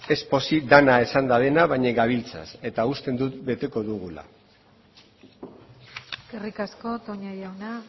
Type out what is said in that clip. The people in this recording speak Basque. ez pozik dena esan dutena baina gabiltza eta uste dut beteko dugula eskerrik asko toña jauna